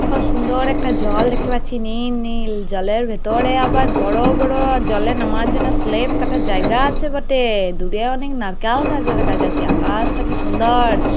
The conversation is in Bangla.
খুব সুন্দর একটা জল দেখতে পাচ্ছি। নীল নীল। জলের ভেতরে আবার বড়ো বড়ো জলে নামার জন্য স্লেপ কাটার জায়গা আছে বটে। দূরে অনেক নারকাল গাছ দেখা যাচ্ছে। আকা-আশটি কি সুন্দর।